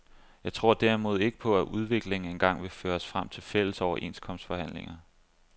Jeg tror derimod ikke på, at udviklingen engang vil føre os frem til fælles overenskomstforhandlinger.